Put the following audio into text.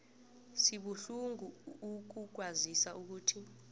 sibuhlungu ukukwazisa ukuthi